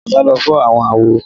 Alaba ló fọàwọn àwo